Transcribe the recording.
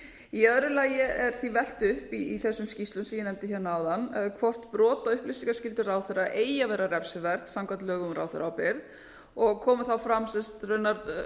í öðru lagi er því velt upp í þessum skýrslum sem ég nefndi hérna áðan hvort brot á upplýsingaskyldu ráðherra eigi að vera refsiverð samkvæmt lögum um ráðherraábyrgð og komu þá fram raunar